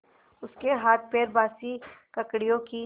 उसके हाथपैर बासी ककड़ियों की